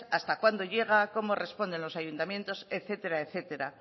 hasta cuándo llega cómo responden los ayuntamientos etcétera etcétera